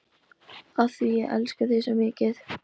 Af því ég elska þig svo mikið.